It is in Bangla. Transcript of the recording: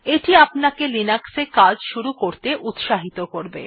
এটি আপনাকে লিনাক্স এ কাজ শুরু করতে উত্সাহিত করবে